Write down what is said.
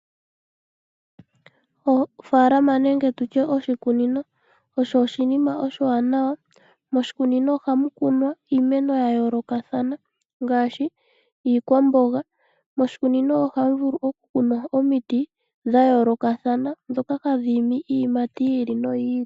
Ofaalama nenge oshikunino osho oshinima oshiwanawa, oshoka moshikunino ohamu kunwa iimeno ya yoolokathana ngaashi iikwamboga nomiti dha yoolokathana hadhi imi iiyimati yi ili noyi ili.